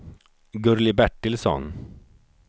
Gurli Bertilsson